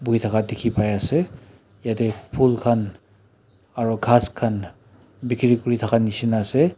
bui thaka dikhi pai ase yete phool khan aro ghas khan bikiri kuri thaka nishina ase.